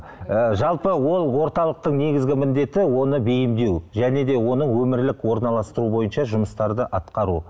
ы жалпы ол орталықтың негізгі міндеті оны бейімдеу және де оны өмірлік орналастыру бойынша жұмыстарды атқару